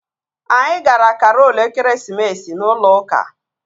Anyị gara karol ekeresimesi n'ụlọ ụka